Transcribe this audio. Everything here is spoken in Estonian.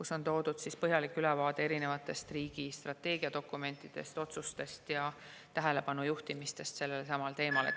Seal on toodud põhjalik ülevaade riigi strateegiadokumentidest, otsustest ja tähelepanu juhtimistest sellelesamale teemale.